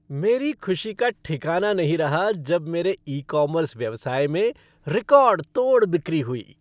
मेरी खुशी का ठिकाना नहीं रहा जब मेरे ई कॉमर्स व्यवसाय में रिकॉर्ड तोड़ बिक्री हुई।